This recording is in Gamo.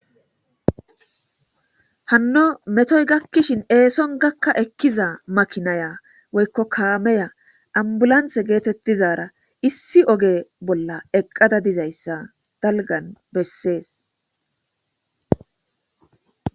Hano metoy gakishin eson gaka ekiza makinaya woyko kameya abulance getetizara issi oge bolla eqada dizaysa dalgan beses